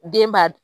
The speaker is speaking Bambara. Den ba